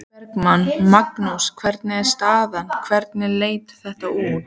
Logi Bergmann: Magnús hvernig er staðan, hvernig leit þetta út?